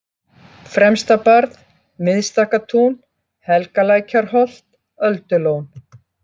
Fremstabarð, Miðstakkatún, Helgalækjarholt, Öldulón